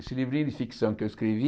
Esse livrinho de ficção que eu escrevi...